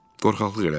Qorxaqlıq elədim.